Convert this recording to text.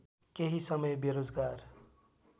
केही समय बेरोजगार